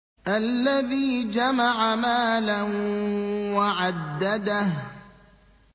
الَّذِي جَمَعَ مَالًا وَعَدَّدَهُ